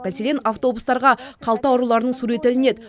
мәселен автобустарға қалта ұрыларының суреті ілінеді